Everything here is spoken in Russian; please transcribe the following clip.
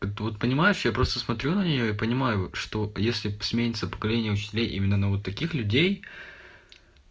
вот понимаешь я просто смотрю на неё и понимаю что если сменится поколение учителей именно на вот таких людей